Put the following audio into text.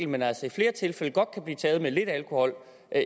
men altså i flere tilfælde godt kan blive taget med lidt alkohol